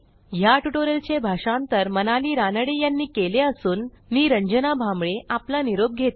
ह्या ट्युटोरियलचे भाषांतर मनाली रानडे यांनी केले असून मी रंजना भांबळे आपला निरोप घेते